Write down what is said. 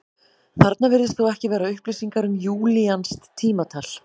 Þarna virðast þó ekki vera upplýsingar um júlíanskt tímatal.